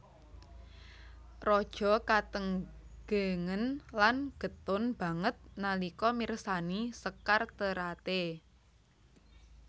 Raja katenggengen lan getun banget nalika mirsani sekar Terate